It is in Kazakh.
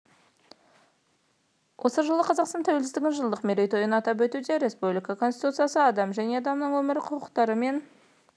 осы жылы қазақстан тәуелсіздігінің жылдық мерейтойын атап өтуде республика конституциясы адам және адамның өмірі құқықтары мен